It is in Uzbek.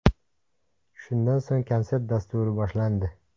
Shundan so‘ng konsert dasturi boshlandi.